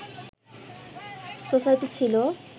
society ছিল